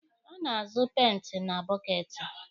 A na-azụ peenti na bọketi.